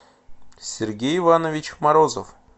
сергей иванович морозов